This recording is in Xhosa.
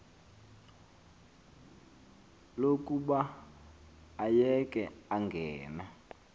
lokuba ayeke angene